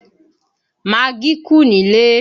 Magí kù nílé